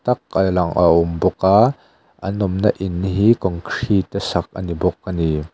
tak a lang a awm bawk a an awmna in hi concrete a sak a ni bawk a ni.